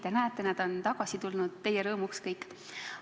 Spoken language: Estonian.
Ja näete, nad on kõik teie rõõmuks tagasi tulnud.